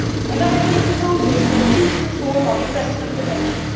I have made proposals for a deep reform of investment protection.